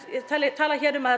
tala hér um að